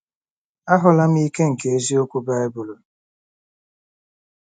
Ahụla m Ike nke Eziokwu Baịbụl